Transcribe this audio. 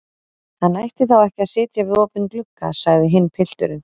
Hann ætti þá ekki að sitja við opinn glugga, sagði hinn pilturinn.